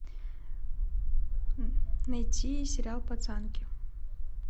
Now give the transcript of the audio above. найти сериал пацанки